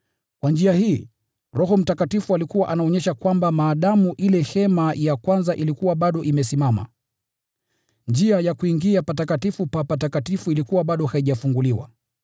Kwa njia hii, Roho Mtakatifu alikuwa anaonyesha kwamba, maadamu ile hema ya kwanza ilikuwa bado imesimama, njia ya kuingia Patakatifu pa Patakafifu ilikuwa bado haijafunguliwa.